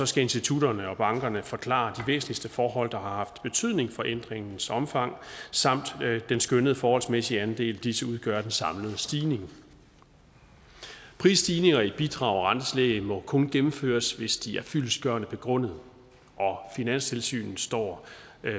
skal institutterne og bankerne forklare de væsentligste forhold der har haft betydning for ændringens omfang samt den skønnede forholdsmæssige andel disse udgør af den samlede stigning prisstigninger i bidrag og rentetillæg må kun gennemføres hvis de er fyldestgørende begrundet finanstilsynet står